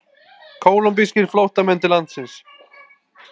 Kólumbískir flóttamenn til landsins